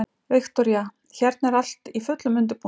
Viktoría: Hérna er allt í fullum undirbúningi?